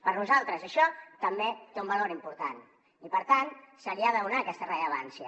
per nosaltres això també té un valor important i per tant se li ha de donar aquesta rellevància